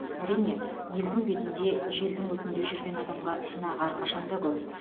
әрине елдің бетінде желдің өтінде жүрген адамға сынақ әрқашанда көп